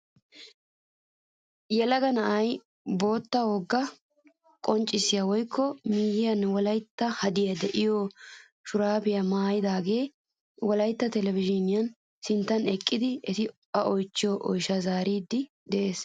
Yelaga na'ay bootta wogaa qonccisiyaa woykko miyiyaara wolaytta hadee de'iyoo shuraabiyaa maayidaagee wolaytta televizhiniyaa sinttan eqqidi eti a oychchido oyshshasi zaariidi de'ees!